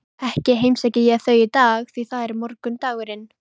Ekki heimsæki ég þau í dag, því það er morgundagurinn.